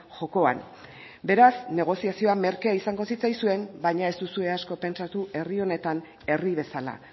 jokoan beraz negoziazioa merkea izango zitzaizuen baina ez duzue asko pentsatu herri honetan herri bezala